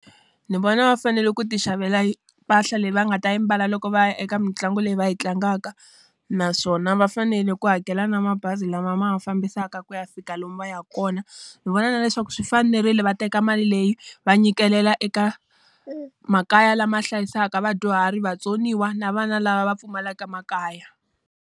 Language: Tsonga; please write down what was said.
Ni vona va fanele ku ti xavela mpahla leyi va nga ta yi mbala loko va ya eka mitlangu leyi va yi tlangaka. Naswona va fanele ku hakela na mabazi lama ma va fambisaka ku ya fika lomu va ya ka kona. Ni vona na leswaku swi fanerile va teka mali leyi, va nyikela eka makaya lama hlayisaka vadyuhari, vatsoniwa, na vana lava va pfumalaka makaya.